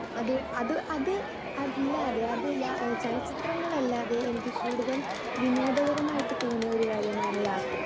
Speaker 2 അത് അത് അത് അല്ലാതെ, ചലച്ചിത്രങ്ങളല്ലാതെ എനിക്ക് കൂടുതൽ വിനോദപരമായിട്ട് തോന്നിയ ഒന്നാണ് യാത്രകൾ.